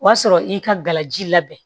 O y'a sɔrɔ i ka gala ji labɛn